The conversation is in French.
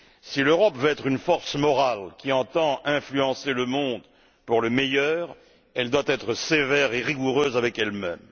Si l'Europe veut être une force morale qui entend influencer le monde pour le meilleur, elle doit être sévère et rigoureuse avec elle même.